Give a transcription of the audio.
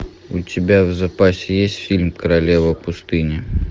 у тебя в запасе есть фильм королева пустыни